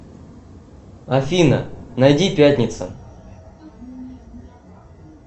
афина найди пятница